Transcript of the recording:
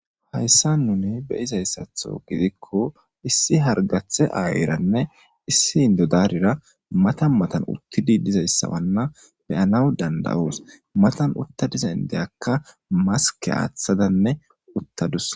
hayssa nune be izayssatho gidikko issi hargathe aayiranne issi hindo daarira matan matan uttidi dizayssawanna beyanaw dandawoos matan utta dizayn deyakka maske aaththadanne uttadussa